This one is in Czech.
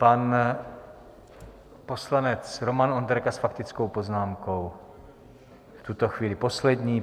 Pan poslanec Roman Onderka s faktickou poznámkou, v tuto chvíli poslední.